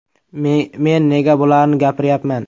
Men nega bularni gapiryapman.